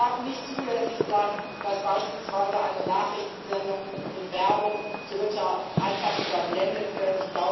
Es darf nicht zulässig sein, dass beispielsweise eine Nachrichtensendung mit Werbung Dritter einfach überblendet wird.